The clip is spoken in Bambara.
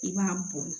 I b'a bɔn